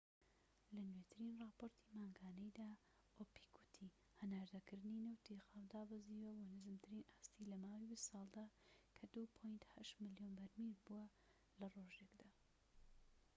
لە نوێترین راپۆرتی مانگانەیدا، ئۆپیک وتی هەناردەکردنی نەوتی خاو دابەزیوە بۆ نزمترین ئاستی لەماوەی بیست ساڵدا کە ٢.٨ ملیۆن بەرمیل بووە لە ڕۆژێكدا